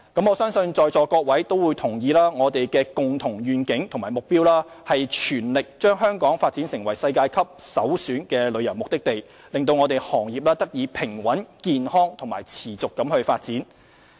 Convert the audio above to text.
我相信在座各位都同意，我們的共同願景及目標是全力將香港發展為世界級的首選旅遊目的地，讓行業得以平穩、健康及持續發展。